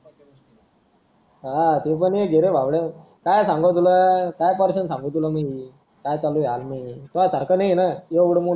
आह ते पण एक रे भावड्या काय सांगावं तुला काय सांगू तुला आत मी मध्ये काय चालू तौ सारखं नाही ये ना एवढं मोठं